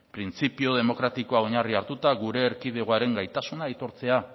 printzipio demokratiko oinarria hartuta gure erkidegoaren gaitasuna aitortzea